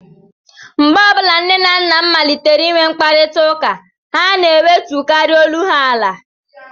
Mgbe ọ bụla nne na nna m malitere inwe mkparịtaụka, ha na-ewetukarị olu ha ala